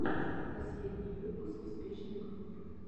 последний выпуск успешной группы